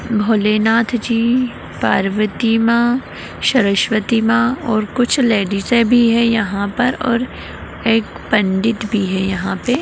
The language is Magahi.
भोलेनाथ जी पार्वती माँ सरस्वती माँ और कुछ लेडीसे भी हैं यहाँ पर और एक पंडित भी है यहाँ पे।